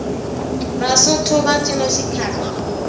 vasotho va cina xikhaba